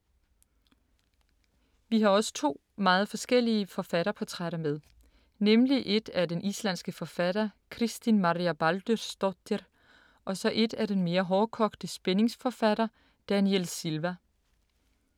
Vi har også to meget forskellige forfatterportrætter med. Nemlig et af den islandske forfatter Kristín Marja Baldursdóttir, og så et af den mere hårdkogte spændingsforfatter Daniel Silva.